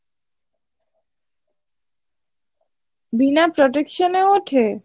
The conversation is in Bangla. বিনা protection এ ওঠে?